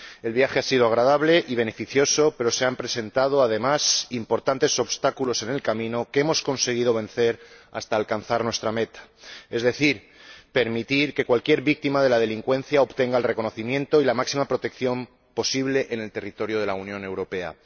El viaje ha sido agradable y beneficioso, pero se han presentado, además, importantes obstáculos en el camino, que hemos conseguido vencer hasta alcanzar nuestra meta, es decir, permitir que cualquier víctima de la delincuencia obtenga el reconocimiento y la máxima protección posible en el territorio de la Unión Europea.